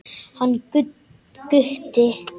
Hann Gutti?